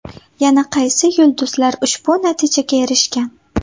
Yana qaysi yulduzlar ushbu natijaga erishgan?.